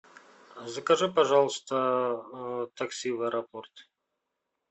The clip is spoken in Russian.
закажи пожалуйста такси в аэропорт